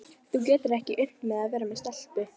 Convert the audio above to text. Þú getur ekki unnt mér að vera með stelpu.